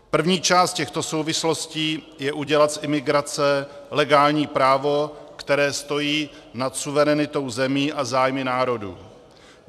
První část těchto souvislostí je udělat z imigrace legální právo, které stojí nad suverenitou zemí a zájmy národů.